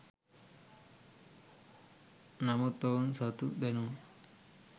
නමුත් ඔවුන් සතු දැනුම